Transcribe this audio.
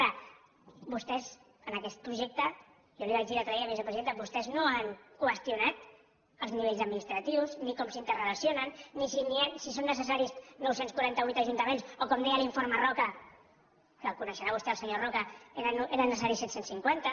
ara vostès en aquest projecte jo li ho vaig dir l’altre dia vicepresidenta vostès no han qüestionat els nivells administratius ni com s’interrelacionen ni si són necessaris nou cents i quaranta vuit ajuntaments o com deia l’informe roca que el coneixerà vostè el senyor roca eren necessaris set cents i cinquanta